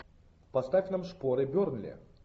поставь нам шпоры бернли